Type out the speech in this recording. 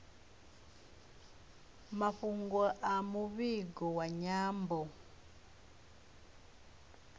mafhungo a muvhigo wa nyambo